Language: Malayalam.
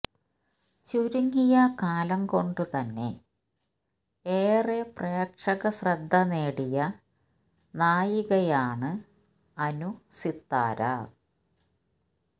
ചുരുങ്ങിയ കാലം കൊണ്ട് തന്നെ ഏറെ പ്രേക്ഷക ശ്രദ്ധ നേടിയ നായികയാണ് അനു സിത്താര